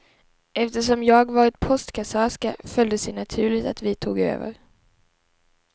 Eftersom jag varit postkassörska föll det sig naturligt att vi tog över.